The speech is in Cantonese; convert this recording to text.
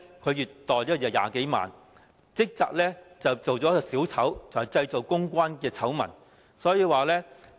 他月薪20多萬元，職責是扮演"小丑"及製造公關醜聞。